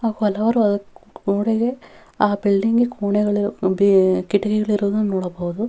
ಹಲವಾರು ಆಹ್ಹ್ ಗೋಡೆಗೆ ಆ ಬಿಲ್ಡಿಂಗ್ಗೆ ಕೊಣೆಗಳು ಬಿ ಕಿಟಿಕಿಗಳಿರುವುದನ್ನು ನೋಡಬಹುದು.